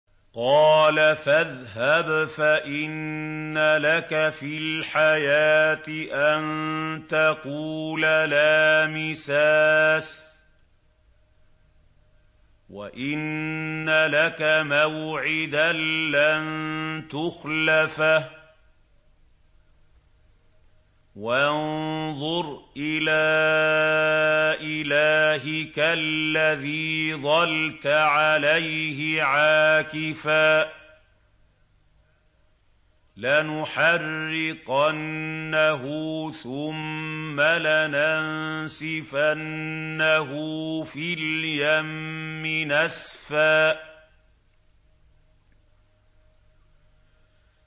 قَالَ فَاذْهَبْ فَإِنَّ لَكَ فِي الْحَيَاةِ أَن تَقُولَ لَا مِسَاسَ ۖ وَإِنَّ لَكَ مَوْعِدًا لَّن تُخْلَفَهُ ۖ وَانظُرْ إِلَىٰ إِلَٰهِكَ الَّذِي ظَلْتَ عَلَيْهِ عَاكِفًا ۖ لَّنُحَرِّقَنَّهُ ثُمَّ لَنَنسِفَنَّهُ فِي الْيَمِّ نَسْفًا